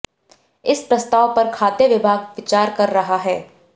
इस प्रस्ताव पर खाद्य विभाग विचार कर रहा है